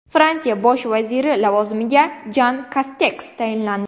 Fransiya bosh vaziri lavozimiga Jan Kasteks tayinlandi.